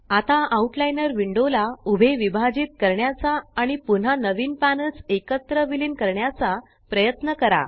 आता outliner window ला उभे विभाजित करण्याचा आणि पुन्हा नवीन पॅनल्स एकत्र विलीन करण्याचा प्रयत्न करा